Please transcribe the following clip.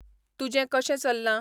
तुजें कशें चल्लां